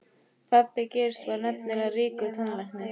Pabbi Geirs var nefnilega ríkur tannlæknir.